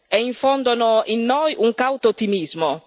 e infondono in noi un cauto ottimismo.